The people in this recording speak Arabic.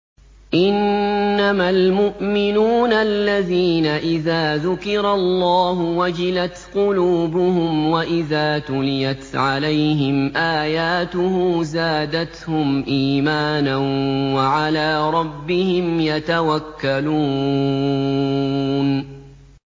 إِنَّمَا الْمُؤْمِنُونَ الَّذِينَ إِذَا ذُكِرَ اللَّهُ وَجِلَتْ قُلُوبُهُمْ وَإِذَا تُلِيَتْ عَلَيْهِمْ آيَاتُهُ زَادَتْهُمْ إِيمَانًا وَعَلَىٰ رَبِّهِمْ يَتَوَكَّلُونَ